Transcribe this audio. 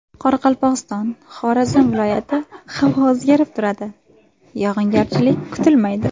Qoraqalpog‘iston, Xorazm viloyati Havo o‘zgarib turadi, yog‘ingarchilik kutilmaydi.